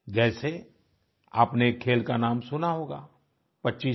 जैसे आपने एक खेल का नाम सुना होगा पचीसी